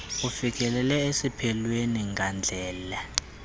ufikelele esiphelweni ngandlela